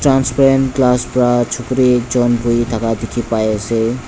transparent glass pra chukuri ekjun buhithaka ekjun dikhi pai ase.